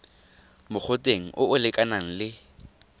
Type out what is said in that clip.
mogoteng o o lekanang le